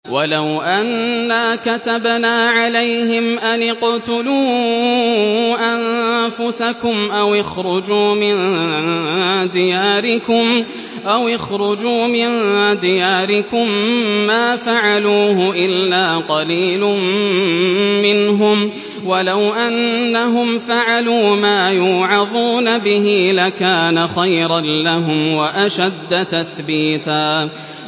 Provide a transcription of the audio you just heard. وَلَوْ أَنَّا كَتَبْنَا عَلَيْهِمْ أَنِ اقْتُلُوا أَنفُسَكُمْ أَوِ اخْرُجُوا مِن دِيَارِكُم مَّا فَعَلُوهُ إِلَّا قَلِيلٌ مِّنْهُمْ ۖ وَلَوْ أَنَّهُمْ فَعَلُوا مَا يُوعَظُونَ بِهِ لَكَانَ خَيْرًا لَّهُمْ وَأَشَدَّ تَثْبِيتًا